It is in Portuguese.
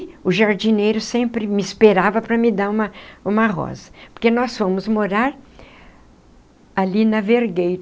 o jardineiro sempre me esperava para me dar uma uma rosa, porque nós fomos morar ali na Vergueiro,